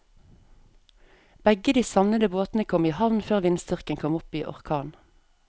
Begge de savnede båtene kom i havn før vindstyrken kom opp i orkan.